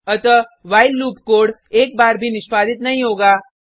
अतः while loop code एक बार भी निष्पादित नहीं होगा